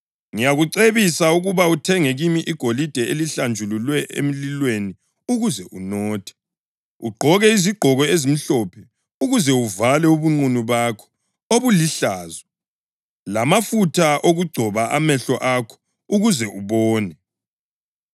Ngiyakucebisa ukuba uthenge kimi igolide elihlanjululwe emlilweni ukuze unothe; ugqoke izigqoko ezimhlophe ukuze uvale ubunqunu bakho obulihlazo, lamafutha okugcoba amehlo akho ukuze ubone.